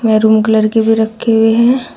Maroon colour के भी रखे हुए हैं।